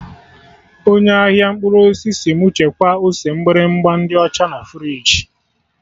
Onye ahịa mkpụrụ osisi sị mụ chekwaa ose mgbịrịgba ndị ọcha na friji